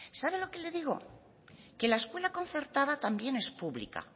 sabe lo que le digo que la escuela concertada también es pública